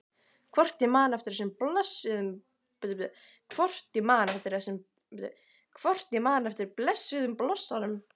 Hvort ég man eftir blessuðum blossanum?